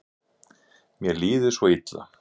Mér líður svo illa.